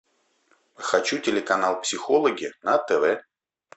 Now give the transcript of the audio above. хочу телеканал психологи на тв